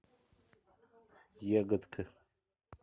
ягодка